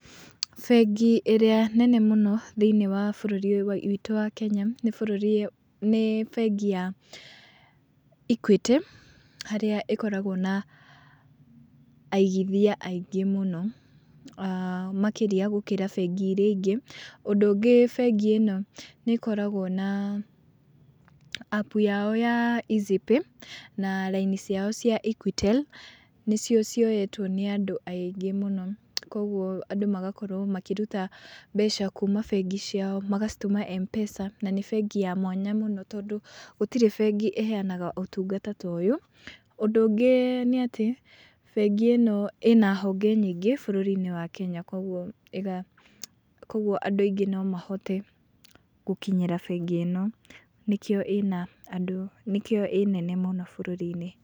Bengi ĩrĩa nene mũno thiĩniĩ wa bũrũri witũ wa Kenya, nĩ bũrũri, nĩ bengi ya Equity harĩa ĩkoragwo na aigithia aingĩ mũno makĩria gũkĩra bengi iria ingĩ. Ũndũ ũngĩ bengi ĩno nĩ ĩkoragwo na appu yao ya Eazzypay, na raini ciao cia Equitel nĩcio cioyetwo nĩ andũ aingĩ mũno. Koguo andũ magakorwo makĩruta mbeca kuuma bengi ciao magacitũma M-pesa, na nĩ bengi ya mwanya mũno tondũ gũtirĩ bengi ĩngĩ ĩheanaga ũtungata ta ũyũ. Ũndũ ũngĩ nĩ atĩ bengi ĩno ĩna honge nyingĩ bũrũri-inĩ wa Kenya koguo, koguo andũ aingĩ nomahote gũkinyĩra bengi ĩno nĩkĩo ĩna andũ, nĩkĩo ĩ nene mũno bũrũri-inĩ.